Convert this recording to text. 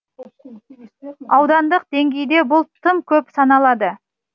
аудандық деңгейде бұл тым көп саналады